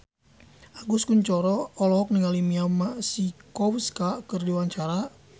Agus Kuncoro olohok ningali Mia Masikowska keur diwawancara